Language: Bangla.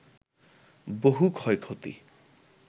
বহু ক্ষয়ক্ষতি